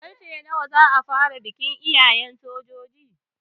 Karfe nawa za a fara bikin yayen sojojin?